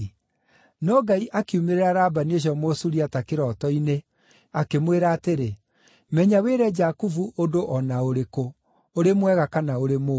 No Ngai akiumĩrĩra Labani ũcio Mũsuriata kĩroto-inĩ, akĩmwĩra atĩrĩ, “Menya wĩre Jakubu ũndũ o na ũrĩkũ, ũrĩ mwega kana ũrĩ mũũru.”